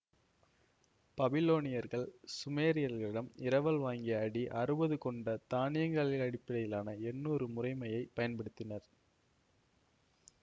பபிலோனியர்கள் சுமேரியர்களிடம் இரவல் வாங்கிய அடி அறுபது கொண்ட தானங்களினடிப்படையிலான எண்ணுரு முறைமையைப் பயன்படுத்தினர்